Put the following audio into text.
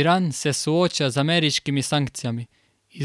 Iran se sooča z ameriškimi sankcijami,